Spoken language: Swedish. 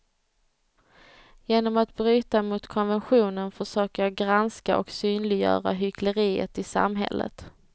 Genom att bryta mot konventionen försöker jag granska och synliggöra hyckleriet i samhället.